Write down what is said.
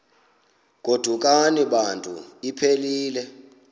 godukani bantu iphelil